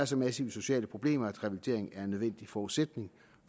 så massive sociale problemer at revalidering er en nødvendig forudsætning